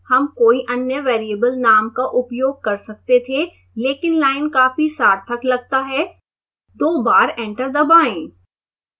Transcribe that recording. हम कोई अन्य वेरिएबल नाम का उपयोग कर सकते थे लेकिन लाइन काफी सार्थक लगता है दो बार एंटर दबाएं